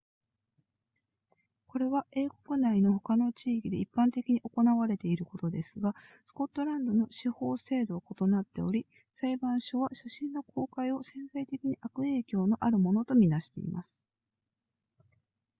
これは英国内の他の地域で一般的に行われていることですがスコットランドの司法制度は異なっており裁判所は写真の公開を潜在的に悪影響のあるものと見なしています